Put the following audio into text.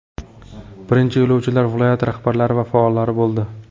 Birinchi yo‘lovchilar viloyat rahbarlari va faollar bo‘ldi.